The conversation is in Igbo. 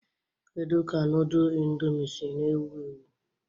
Kedu ka nudul Indomie si na ewu ewu?